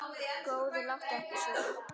Góði, láttu ekki svona.